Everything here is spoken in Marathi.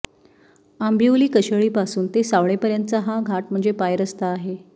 आंबिवली कशेळीपासून ते सावळेपर्यंतचा हा घाट म्हणजे पायरस्ता आहे